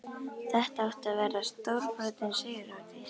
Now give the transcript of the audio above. Þetta átti að verða stórbrotin sigurhátíð!